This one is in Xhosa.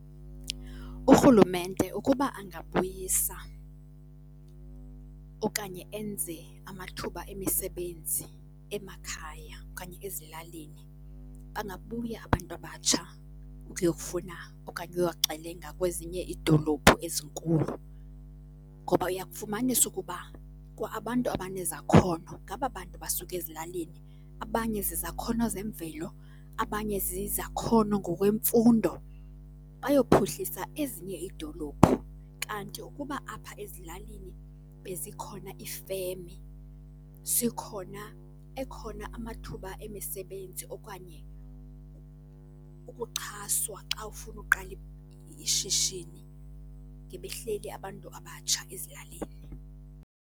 Urhulumente ukuba angabuyisa okanye enze amathuba emisebenzi emakhaya okanye ezilalini bangabuya abantu abatsha ukuyokufuna okanye ukuyoxelenga kwezinye iidolophu ezinkulu. Ngoba uya kufumanisa ukuba kwa abantu abanezakhono ngaba bantu basuka ezilalini abanye zizakhono zemvelo, abanye zizakhono ngokwemfundo, bayophuhlisa ezinye iidolophu. Kanti ukuba apha ezilalini bezikhona iifemi, zikhona, ekhona amathuba emisebenzi okanye ukuxhaswa xa ufuna uqala ishishini ngebehleli abantu abatsha ezilalini.